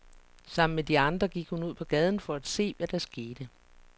Sammen med de andre gik hun ud på gaden for at se, hvad der skete.